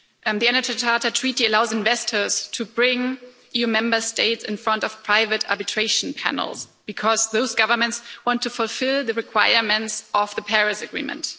The Energy Charter Treaty allows investors to bring EU Member States in front of private arbitration panels because those governments want to fulfil the requirements of the Paris Agreement.